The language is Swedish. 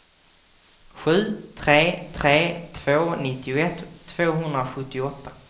sju tre tre två nittioett tvåhundrasjuttioåtta